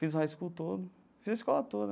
Fiz o high school todo, fiz a escola toda.